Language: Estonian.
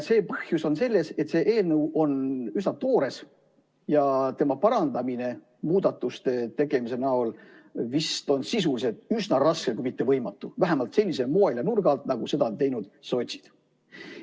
Põhjus on selles, et see eelnõu on üsna toores ja selle parandamine muudatuste tegemisega on vist sisuliselt üsna raske kui mitte võimatu, vähemalt sellisel moel ja sellise nurga alt, nagu seda on teinud sotsid.